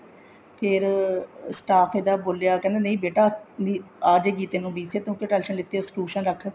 ਫ਼ੇਰ staff ਇਹਦਾ ਬੋਲਿਆ ਕੇ ਨਹੀਂ ਬੇਟਾ ਵੀ ਅਜੁਗੀ ਤੈਨੂੰ BCA ਤੂੰ ਕਿਉਂ tension ਲੀਤੀ ਹੈ tuition ਰੱਖ